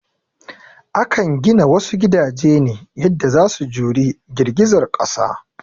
Akan gina wasu gidaje ne yanda za su juri girgizar ƙasa